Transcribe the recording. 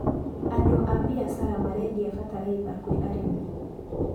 Andũ a mbiacara marendia bataraitha kwĩ arĩmi.